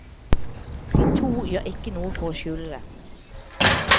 De to gjør ikke noe for å skjule det.